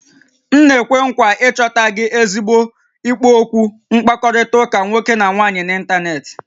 M na-ekwe nkwa ịchọta gị ezigbo ikpo okwu mkpakọrịta nwoke na nwaanyị n'ịntanetị